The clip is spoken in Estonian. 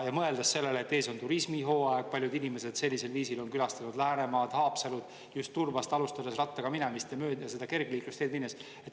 Mõeldes sellele, et ees on turismihooaeg, paljud inimesed sellisel viisil on külastanud Läänemaad, Haapsalut just Turbast alustades rattaga mööda seda kergliiklusteed minnes.